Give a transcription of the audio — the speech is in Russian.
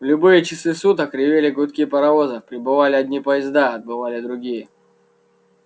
в любые часы суток ревели гудки паровозов прибывали одни поезда отбывали другие